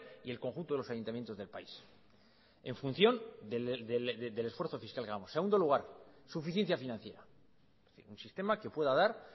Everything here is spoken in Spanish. y el conjunto de los ayuntamientos del país en función del esfuerzo fiscal que hagamos segundo lugar suficiencia financiera un sistema que pueda dar